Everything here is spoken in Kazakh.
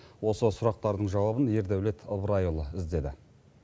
осы сұрақтардың жауабын ердаулет ыбырайұлы іздеді